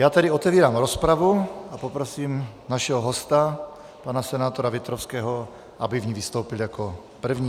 Já tedy otevírám rozpravu a poprosím našeho hosta, pana senátora Větrovského, aby v ní vystoupil jako první.